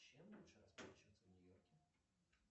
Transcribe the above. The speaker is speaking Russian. чем лучше расплачиваться в нью йорке